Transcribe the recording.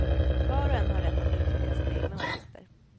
Var och en har rätt att uttrycka sina egna åsikter.